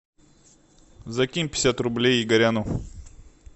закинь пятьдесят рублей игоряну